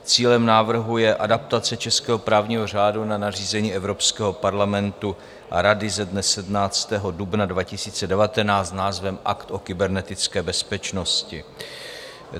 Cílem návrhu je adaptace českého právního řádu na nařízení Evropského parlamentu a Rady ze dne 17. dubna 2019 s názvem Akt o kybernetické bezpečnosti.